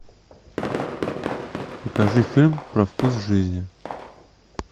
покажи фильм про вкус жизни